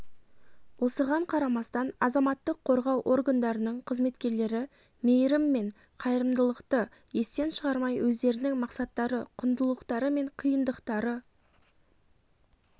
осыған қарамастан азаматтық қорғау органдарының қызметкерлері мейіріммен қайырылымдықты естен шығармай өздерінің мақсаттары құндылықтары мен қиындықтары